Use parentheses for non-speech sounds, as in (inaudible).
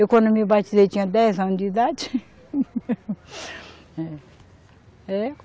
Eu, quando me batizei, tinha dez anos de idade. (laughs) É